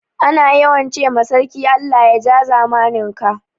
Ana yawan ce ma sarki Allah ya ja zamanin ka